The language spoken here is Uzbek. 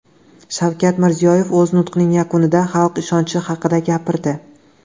Shavkat Mirziyoyev o‘z nutqining yakunida xalq ishonchi haqida gapirdi.